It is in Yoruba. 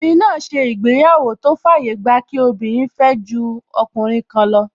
Obìnrin náà ṣe ìgbéyàwó tó fàyè gba kí obìnrin fẹ́ ju ọkùnrin kan lọ